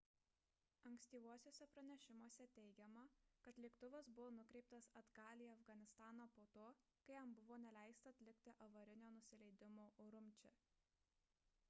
ankstyvuosiuose pranešimuose teigiama kad lėktuvas buvo nukreiptas atgal į afganistaną po to kai jam buvo neleista atlikti avarinio nusileidimo urumči